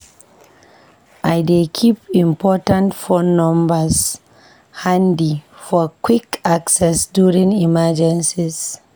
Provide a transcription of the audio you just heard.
I dey keep important phone numbers handy for quick access during emergencies.